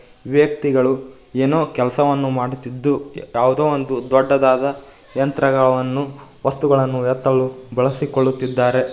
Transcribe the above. ವ್ಯಕ್ತಿಗಳು ಏನೋ ಕೆಲಸವನ್ನು ಮಾಡುತ್ತಿದ್ದು ಯಾವುದೋ ಒಂದು ದೊಡ್ಡದಾದ ಯಂತ್ರಗಳನ್ನು ವಸ್ತುಗಳನ್ನು ಎತ್ತಲು ಬಳಸಿಕೊಳ್ಳುತ್ತಿದ್ದಾರೆ.